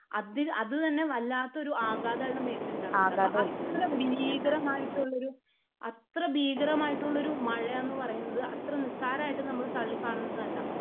അത് അത് തന്നെ വല്ലാത്ത ഒരു ആഘാതം ആളുടെ മേത്ത് ഉണ്ടാക്കുന്നുണ്ട്. അപ്പോ അത്ര ഭീകരമായിട്ടുള്ള ഒരു അത്ര ഭീകരമായിട്ടുള്ള ഒരു മഴ എന്ന് പറയുന്നത് അത്ര നിസ്സാരമായിട്ട് നമ്മൾ തള്ളികാണുന്നതല്ല